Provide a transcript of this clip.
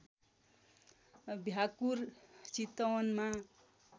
भ्याकुर चितवनमा